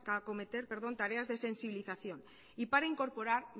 acometer tareas de sensibilización y para incorporar